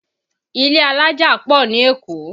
Ilé alájà pọ̀ ní Èkó